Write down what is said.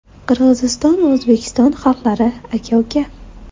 Qirg‘iziston va O‘zbekiston xalqlari aka-uka.